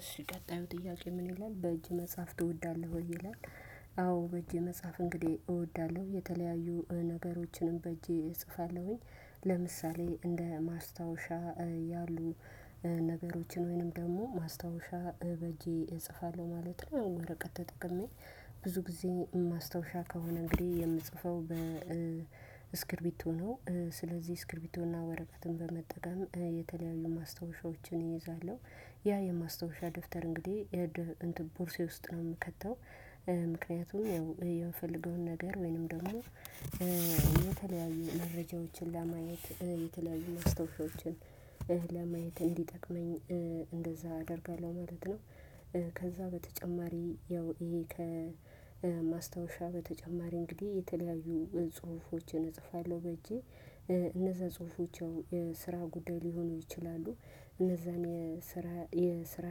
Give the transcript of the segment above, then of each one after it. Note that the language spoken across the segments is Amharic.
እሺ ቀጣዩ ጥያቄ ምን ይላል በእጅ መጽሐፍ ትወዳለሁ ወይ ይላል? አዎ በእጄ መጽሐፍ እንግዲህ እወዳለሁ። የተለያዩ ነገሮችንም በእጄ እጽፋለሁኝ ለምሳሌ እንደ ማስታወሻ ያሉ ነገሮችን ወይንም ደግሞ ማስታወሻ በጄ እጽፋለሁ ማለት ነው። ወረቀት ተጠቅሜ ብዙ ጊዜ ማስታወሻ ከሆነ እንግዲህ የምጽፈው በስክርቢቶ ነው። ስለዚህ ስክሪቢቶና ወረቀትን በመጠቀም የተለያዩ ማስታወሻዎችን እይዛለሁ። ያ የማስታወሻ ደፍተር እንግዲህ የደፍ ቦርሳዬ ውስጥ ነው የምከተው። ምክንያቱም ያው የምፈልገውን ነገር ወይንም ደግሞ የተለያዩ መረጃዎችን ለማየት የተለያዩ መስታወሻዎችን ለማየት እንዲጠቅመኝ እንደዛ አደርጋለሁ ማለት ነው። ከዛ በተጨማሪ ያው ይሄ ከማስታወሻ በተጨማሪ እንግዲህ የተለያዩ ጽሁፎችን እጽፋለሁ በእጄ። እነዛ ጽሁፎች የስራ ጉዳይ ሊሆኑ ይችላሉ። እነዛን የስራ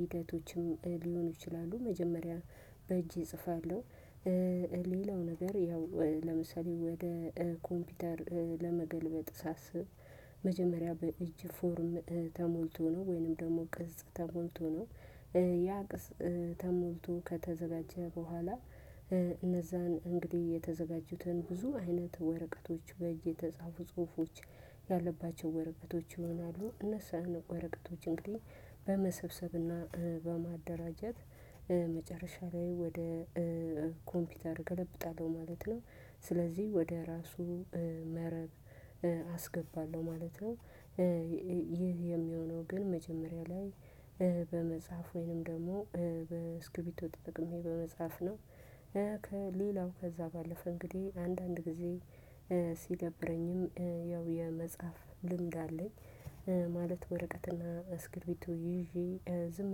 ሂደቶችም ሊሆኑ ይችላሉ መጀመሪያ በእጄ እጽፋለሁ። ሌላው ነገር ያው ለምሳሌ ወደ ኮምፒውተር ለመገልበጥ ሳስብ መጀመሪያ በእጅ ፎርም ተሞልቶ ነው ወይንም ደግሞ ቅጽ ተሞልቶ ነው። ያ ቅጽ ተሞልቶ ከተዘጋጀ በኋላ እነዛን እንግዲህ የተዘጋጁትን ብዙ አይነት ወረቀቶች በእጅ የተጻፉ ጽሁፎች ያለባቸው ወረቀቶች ይሆናሉ። እነሱ ወረቀቶች እንግዲህ በመሰብሰብና በማደራጀት መጨረሻ ላይ ወደ ኮምፒውተር እገለብጣለሁ ማለት ነው። ስለዚህ ወደ ራሱ መረብ አስገባለሁ ማለት ነው። ይህ የሚሆነው ግን መጀመሪያ ላይ በመጽሐፍ ወይንም ደግሞ በስክርቢቶ ተጥቅሜ በመጽሐፍ ነው። ከሌላው ከዛ ባለፈ እንግዲህ አንዳንድ ጊዜ ሲደብረኝም ያው የመጽሐፍ ልምድ አለኝ። ማለት ወረቀትና አስክርቢቶ ይዤ ዝም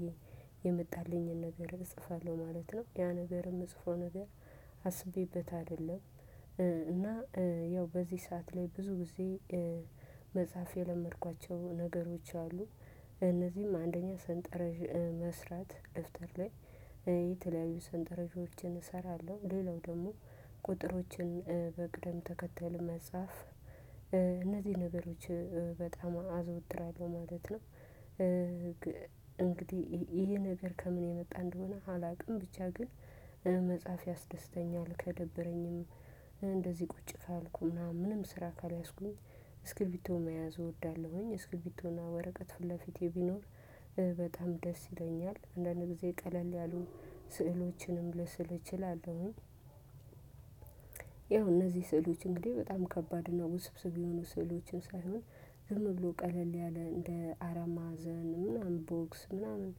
ብዬ የመጣልኝን ነገር እጽፋለሁ ማለት ነው። ያ ነገር የምጽፈው ነገር አስቤበት አይደለም እና ያው በዚህ ሰዓት ላይ ብዙ ጊዜ መጽሐፍ የለመድኳቸው ነገሮች አሉ። እነዚህም አንደኛ ሰንጠረዥ መስራት ደፍተር ላይ የተለያዩ ሰንጠረዦችን እሰራለሁ ሌላው ደግሞ ቁጥሮችን በቅደም ተከተል መጻፍ እነዚህ ነገሮች በጣም አዝወትራለሁ ማለት ነው። እንግዲህ ይሄ ነገር ከምን የመጣ እንደሆነ አላውቅም ብቻ ግን መጽሐፍ ያስደስተኛል። ከደበረኝም እንደዚህ ቁጭ ካልኩ ምናምን ምንም ስራ ካልያዝኩኝ እስክርቢቶ መያዝ እወዳለሁኝ እስክርቢቶና ወረቀት ፊት ለፊቴ ቢኖር በጣም ደስ ይለኛል አንዳንድ ጊዜ ቀለል ያሉ ስዕሎችንም ልስል እችላለሁኝ። ያው እነዚህ ስዕሎች እንግዲህ በጣም ከባድ ነው ውስብስብ የሆኑ ስዕሎችን ሳይሆን ዝም ብሎ ቀለል ያለ እንደ አራት መአዘን ምናምን ቦክስ ምናምን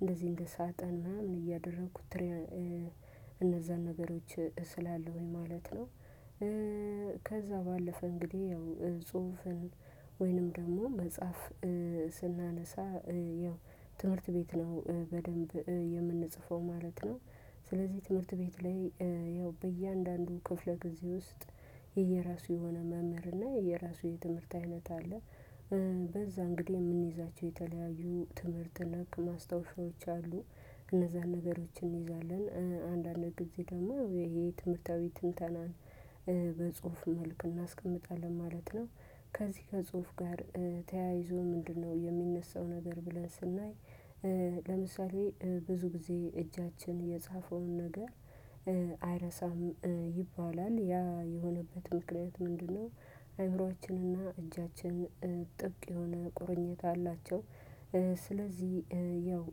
እንደዚህ እንደ ሳጥን ምናምን እያደረኩት እነዛን ነገሮች እስላለሁኝ ወይ ማለት ነው። ከዛ ባለፈ እንግዲህ ያው ጽሁፍን ወይንም ደግሞ መጽሐፍ ስናነሳ ያው ትምህርት ቤት ነው በደንብ የምንጽፈው ማለት ነው። ስለዚህ ትምህርት ቤት ላይ ያው በእያንዳንዱ ክፍለ ጊዜ ውስጥ የየራሱ የሆነ መምህር እና የየራሱ የትምህርት አይነት አለ። በዛ እንግዲህ የምንይዛቸው የተለያዩ ትምህርት ነክ ማስታወሻዎች አሉ እነዛን ነገሮችን እንይዛለን። አንዳንድ ጊዜ ደግሞ ይሄ ትምህርታዊ ትንተናን በጽሁፍ መልኩ እናስቀምጣለን ማለት ነው። ከዚህ ከጽሁፍ ጋር ተያይዞ ምንድነው የሚነሳው ነገር ብለን ስናይ? ለምሳሌ ብዙ ጊዜ እጃችን የጻፈውን ነገር አይረሳም ይባላል ያ የሆነበት ምክንያት ምንድነው አይምሮአችንና እጃችን ጥብቅ የሆነ ቁርኝታ አላቸው። ስለዚህ ያው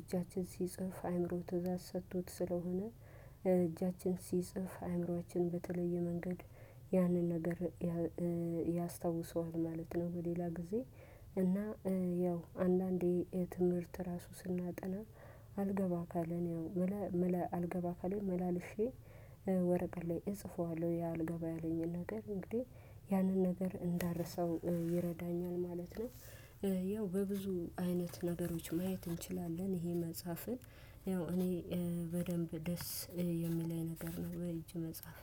እጃችን ሲጽፍ አይምሮ ትእዛዝ ሰጥቶት ስለሆነ እጃችን ሲጽፍ አይምሮአችን በተለየ መንገድ ያንን ነገር ያስታውሰዋል ማለት ነው። በሌላ ጊዜ እና ያው አንዳንዴ የትምህርት ራሱ ስናጠና አልገባ ካለን ምለ ምለ አልገባ ካለንኝ መላልሼ ወረቀት ላይ እጽፈዋለሁ ያልገባ ያለኝን ነገር እንግዲህ ያንን ነገር እንዳረሰው ይረዳኛል ማለት ነው። ያው በብዙ አይነት ነገሮች ማየት እንችላለን ይሄ መጽሐፍን ያው እኔ በደንብ ደስ የሚለኝ ነገር ነው። በእጄ መጽሐፍ